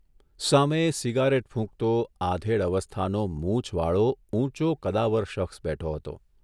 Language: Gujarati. સામે સિગારેટ ફૂંકતો, આધેડ અવસ્થાનો મૂછવાળો, ઊંચો, કદાવર શખ્સ બેઠો હતો.